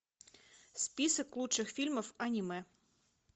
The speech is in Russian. список лучших фильмов аниме